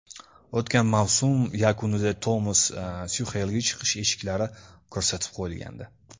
O‘tgan mavsum yakunida Tomas Tuxelga chiqish eshiklari ko‘rsatib qo‘yilgandi.